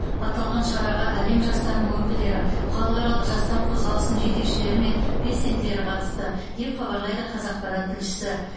аталған шараға әлем жастарының өкілдері халықаралық жастар қозғалысының жетекшілері мен белсенділері қатысты деп хабарлайды қазақпарат тілшісі